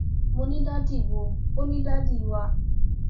mo ní dádì wò ó ní dádì wà